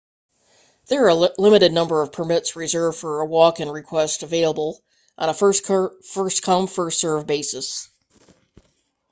there are a limited number permits reserved for walk-in requests available on a first come first served basis